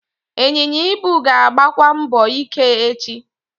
Ịnyịnya ibu ga-agbakwa mbọ ike echi.